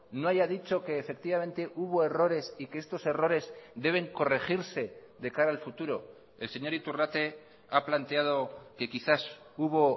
no haya dicho que efectivamente hubo errores y que estos errores deben corregirse de cara al futuro el señor iturrate ha planteado que quizás hubo